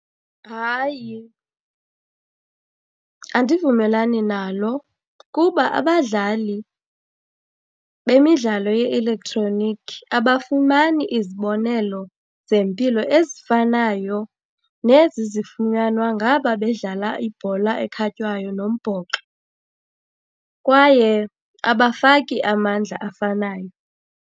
Hayi, andivumelani nalo kuba abadlali bemidlalo ye-elektroniki abafumani izibonelo zempilo ezifanayo nezi zifunyanwa ngaba bedlala ibhola ekhatywayo nombhoxo, kwaye abafaki amandla afanayo.